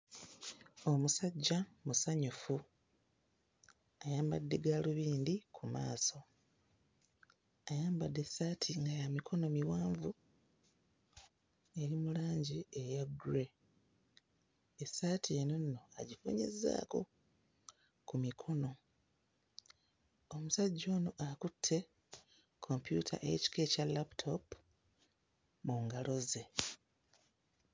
Omusajja musanyufu, ayambadde gaalubindi ku maaso, ayambadde essaati nga ya mikono miwanvu eri mu langi eya grey, essati eno nno agifunyizaako ku mikono, omusajja ono akutte kompyuta y'ekika ekya laputoopu mu ngalo ze.